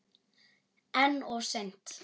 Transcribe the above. En of seint?